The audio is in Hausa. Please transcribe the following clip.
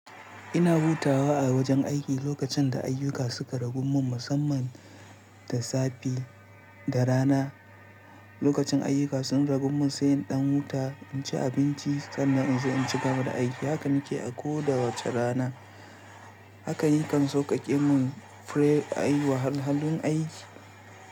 Ina hutawa a wajen aiki lokacin da ayyuka suka ragu mun, musamman da safe da rana. Lokacin ayyuka sun ragu mun sai in ɗan huta, in ci abinci sannan in sai in cigaba da aiki. Haka nike a koda wace rana. Haka yakan sauƙaƙe mun ai wa halhalun aiki.